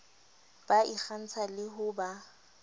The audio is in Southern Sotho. ba ikgantsha le ho ba